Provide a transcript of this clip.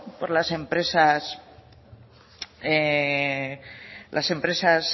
por las empresas